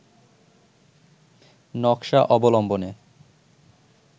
নকশা অবলম্বনে